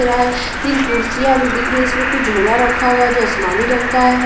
है तीन कुर्सियां जो दिख रही है इसमें कुछ झोला रखा हुआ है जो आसमानी रंग का है।